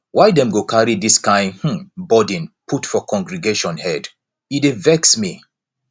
why dem go carry dis kain um burden put for congregation head e dey vex me